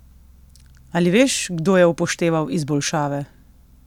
Ali veš, kdo je upošteval izboljšave?